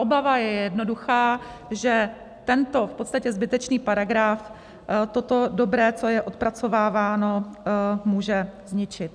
Obava je jednoduchá - že tento v podstatě zbytečný paragraf toto dobré, co je odpracováváno, může ničit.